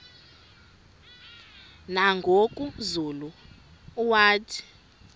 nangoku zulu uauthi